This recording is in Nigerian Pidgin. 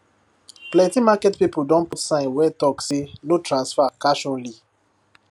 plenty market people don put sign wey talk say no transfer cash only